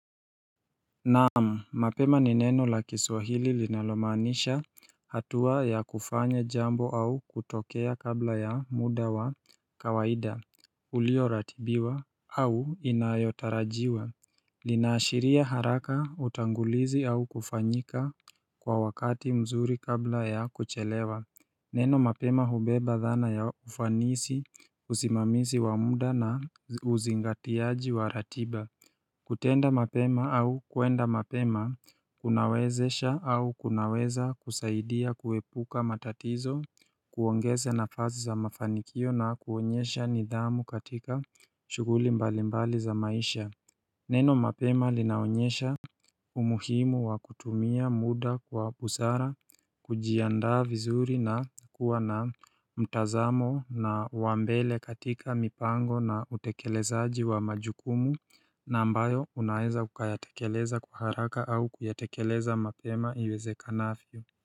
Naam mapema ni neno la kiswahili linalomaanisha hatua ya kufanya jambo au kutokea kabla ya muda wa kawaida Ulioratibiwa au inayotarajiwa Linaashiria haraka utangulizi au kufanyika kwa wakati mzuri kabla ya kuchelewa Neno mapema hubeba dhana ya ufanisi usimamisi wa muda na uzingatiaji wa ratiba kutenda mapema au kuenda mapema, kunawezesha au kunaweza kusaidia kuepuka matatizo, kuongeza nafasi za mafanikio na kuonyesha nidhamu katika shughuli mbalimbali za maisha Neno mapema linaonyesha umuhimu wa kutumia muda kwa busara, kujiandaa vizuri na kuwa na mtazamo na wa mbele katika mipango na utekelezaji wa majukumu na ambayo unaeza ukayatekeleza kwa haraka au kuyatekeleza mapema iwezekanavyo.